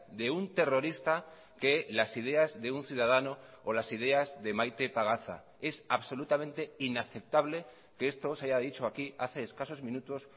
de un terrorista que las ideas de un ciudadano o las ideas de maite pagaza es absolutamente inaceptable que esto se haya dicho aquí hace escasos minutos